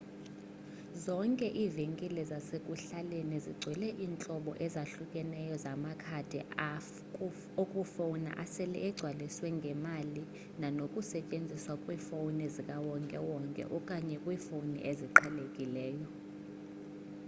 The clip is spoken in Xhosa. zonke iivenkile zasekuhlaleni zigcwele iintlobo ezahlukeneyo zamakhadi okufowuna asele egcwaliswe ngemali nanokusetyenziswa kwiifowuni zikawonke wonke okanye kwiifowuni eziqhelekileyo